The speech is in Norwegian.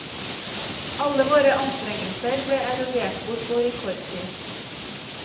Alle våre anstrengelser ble erodert bort på rekordtid.